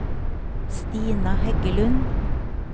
Stina Heggelund